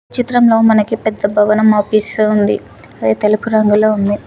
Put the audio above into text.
చిత్రంలో మనకి పెద్ద భవనం అవుపిస్తూ ఉంది. అది తెలుపు రంగులో ఉంది.